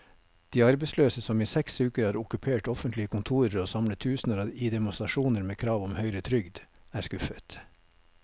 De arbeidsløse, som i seks uker har okkupert offentlige kontorer og samlet tusener i demonstrasjoner med krav om høyere trygd, er skuffet.